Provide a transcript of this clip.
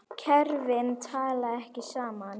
Kerfin tala ekki saman.